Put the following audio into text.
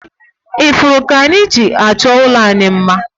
Ifuru ka anyị ji achọ ụlọ anyị mma